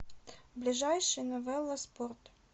ближайший новела спорт